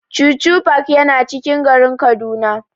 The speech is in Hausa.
Chuchu park yana cikin garin Kaduna.